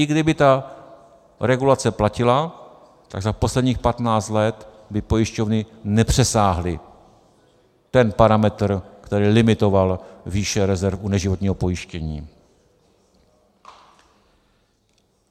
I kdyby ta regulace platila, tak za posledních 15 let by pojišťovny nepřesáhly ten parametr, který limitoval výši rezerv u neživotního pojištění.